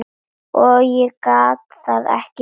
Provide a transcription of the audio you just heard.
Ég gat það ekki sjálf.